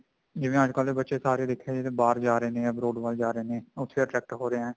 ਜਿਵੇਂ ਅੱਜਕਲ ਦੇ ਬੱਚੇ ਸਾਰੇ ਦੇਖਿਆ ਜਾਵੇ ਤਾਂ ਬਾਹਰ ਜਾ ਰਹੇ ਨੇ abroad ਵੱਲ ਜਾ ਰਹੇ ਨੇ ਉੱਥੇ ਜਾ ਕੇ set ਹੋ ਰਹੇ ਨੇ